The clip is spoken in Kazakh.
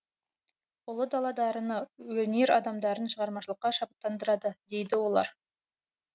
ұлы дала дарыны өнер адамдарын шығармашылыққа шабыттандырады дейді олар